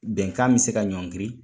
Bɛnkan bɛ se ka ɲɔgiiri